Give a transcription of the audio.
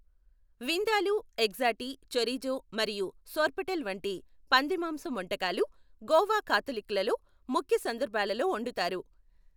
Vindaloo, xacuti, chorizo మరియు సోర్పోటెల్ వంటి పంది మాంసం వంటకాలు గోవా కాథలిక్కులలో ముఖ్య సందర్భాలలో వండుతారు.